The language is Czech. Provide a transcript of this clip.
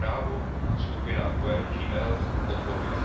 Zprávu skupina GUE NGL podporuje.